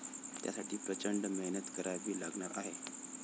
त्यासाठी प्रचंड मेहनत करावी लागणार आहे.